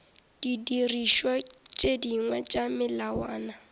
didirišwa tše dingwe tša melawana